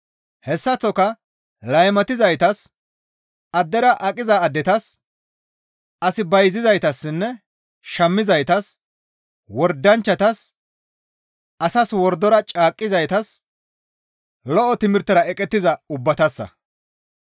Hessaththoka laymatizaytas, addera aqiza addetas, as bayzizaytassinne shammizaytas, wordanchchatas, asas wordora caaqqizaytas, lo7o timirtera eqettiza ubbatassa.